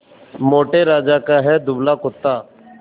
मोटे राजा का है दुबला कुत्ता